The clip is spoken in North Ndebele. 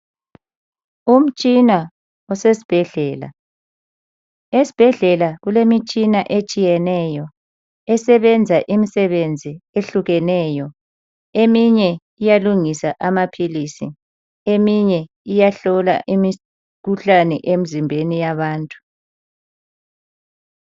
Umtshina osesibhedlela. Esibhedlela kulemitshina etshiyeneyo esebenza imisebenzi ehlukeneyo. Eminye iyalungisa amaphilisi. Eminye iyahlola imikhuhlane emzimbeni yabantu.